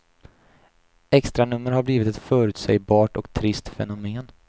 Extranummer har blivit ett förutsägbart och trist fenomen.